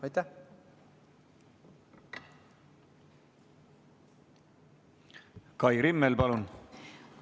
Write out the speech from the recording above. Kai Rimmel, palun!